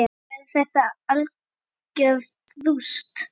Verður þetta algjört rúst???